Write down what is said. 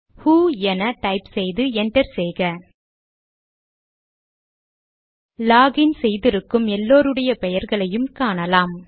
ஹு என டைப் செய்து என்டர் செய்க லாக் இன் செய்திருக்கும் எல்லாருடைய பெயர்களையும் காணலாம்